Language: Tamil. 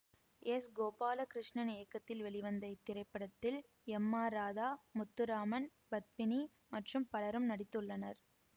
எஸ் கோபாலகிருஷ்ணன் இயக்கத்தில் வெளிவந்த இத்திரைப்படத்தில் எம் ஆர் ராதா முத்துராமன் பத்மினி மற்றும் பலரும் நடித்துள்ளனர்